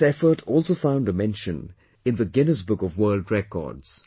This effort also found a mention in the Guinness book of World Records